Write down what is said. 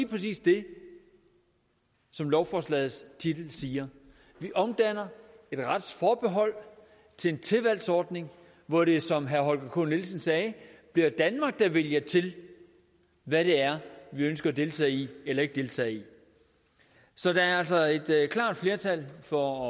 præcis det som lovforslagets titel siger vi omdanner et retsforbehold til en tilvalgsordning hvor det som herre holger k nielsen sagde bliver danmark der vælger til hvad det er vi ønsker at deltage i eller ikke deltage i så der er altså altså et klart flertal for